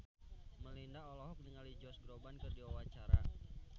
Melinda olohok ningali Josh Groban keur diwawancara